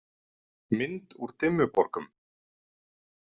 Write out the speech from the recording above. Mynd úr Dimmuborgum.